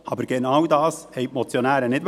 Aber genau das wollten die Motionäre nicht.